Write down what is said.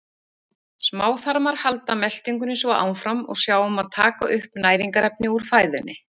Smáþarmar halda meltingunni svo áfram og sjá um að taka upp næringarefni úr fæðunni.